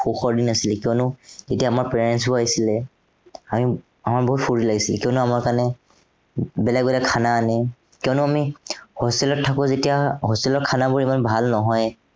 সুখৰ দিন আছিলে। কিয়নো আমাৰ parents বোৰ আহিছিলে। আমি, আমাৰ বহুতো ফুৰ্তি লাগিছিলে, কিয়নো আমাৰ কাৰনে বেলেগ বেলেগ আনে। কিয়নো আমি hostel ত থাকো যেতিয়া hostel ৰ বোৰ ইমান ভাল নহয়।